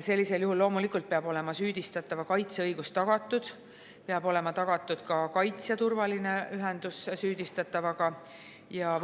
Sellisel juhul loomulikult peab olema süüdistatava kaitse õigus tagatud, peab olema tagatud ka kaitsja turvaline ühendus süüdistatavaga ja